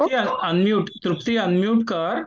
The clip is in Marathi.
तृप्ती अनम्यूट तृप्ती अनम्यूट कर.